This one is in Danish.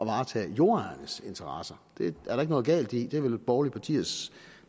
varetage jordejernes interesser det er der ikke noget galt i det er vel borgerlige partiers